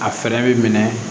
A fɛɛrɛ bɛ minɛ